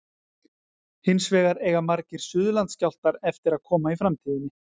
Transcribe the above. Hins vegar eiga margir Suðurlandsskjálftar eftir að koma í framtíðinni.